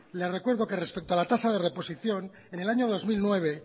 le recuerdo que respeto a la tasa de reposición en el año dos mil nueve